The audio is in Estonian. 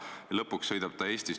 See on positiivne tendents.